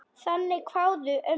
Þannig kváðu ömmur.